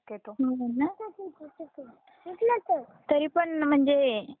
तरीपण म्हणजे इमॅजिन करायला अवघड आहे थोड